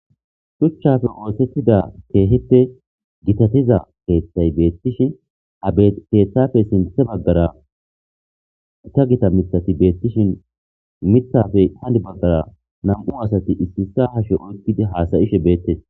shuchchafe oosettida keehippe gitatiza peeththay beettishin aepeeththafey sinthe baggara ta gita mitati beettishin mitafey hani baggara nam7u asati issisa hashe oykkidi haasayishe beettes